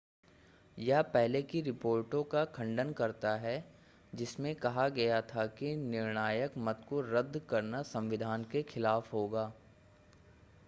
यह पहले की रिपोर्टों का खंडन करता है जिसमें कहा गया था कि निर्णायक मत को रद्द करना संविधान के ख़िलाफ़ होगा